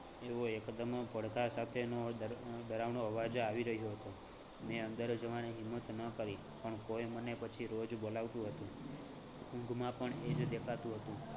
એવો એકદમ પડખાં સાથેનો ડર ડરાવનો અવાજ આવી રહ્યો હતો. મેં અંદર જવાની હિંમત ન કરી પણ કોઈ મને પછી રોજ બોલાવતું હતું, ઊંઘમાં પણ એ જ દેખાતું હતું